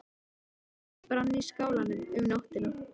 Ljós brann í skálanum um nóttina.